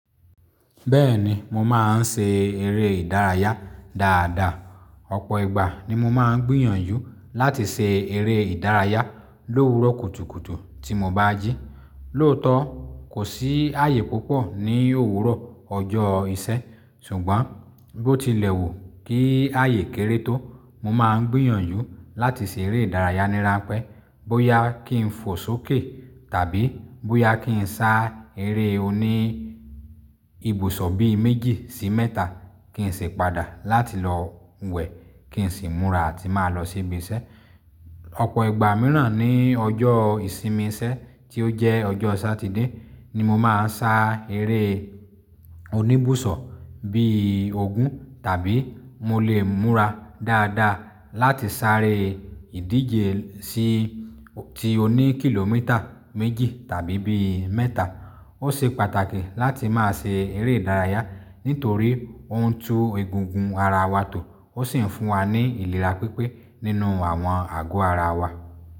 Bẹ́ẹ̀ni mo máa ń ṣe eré ìdárayá dáadáa. Ọ̀pọ̀ ìgbà ni mo máa ń gbìyànjú láti ṣe eré ìdárayá l'òwúrò kùtùkùtù tí mo bá jí. Lóòótọ́, kò sí ààyè púpọ̀ ní òwúrò ọjọ́ ìṣẹ́ ṣùgbọ́n bó ti lẹ̀ wù kí ààyè kéré tó, mo máa ń gbìyànjú láti ṣeré ìdárayá nírapẹ́ bóyá kí n fò sókè tàbí bóyá kí n sá eré oní ibùsọ̀ bí i méjì sí mẹ́ta kí n sì padà láti lọ wẹ̀ kí n sì múra àti máa lọ sí ibi iṣẹ́. Ọ̀pọ̀ ìgbà mìíràn ní ọjọ́ ìsinmi iṣẹ́ tí ó jẹ́ ọjọ́ Satide ni mo máa ń sá eré oní ibùsọ̀ bíi ogún tàbí mo lè múra dáadáa láti sáré ìdíje sí ti oní kìlómítà méjì tàbí bí i mẹ́ta. Ó ṣe pàtàkì láti má ṣe eré ìdárayá nítorí ó ń tú egungun ara wa tó ó sì ń fún wa ní ìlera pípé nínú àwọn àgọ́ ara wa.